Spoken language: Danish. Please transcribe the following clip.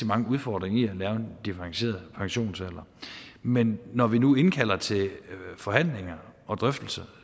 mange udfordringer i at lave en differentieret pensionsalder men når vi nu indkalder til forhandlinger og drøftelser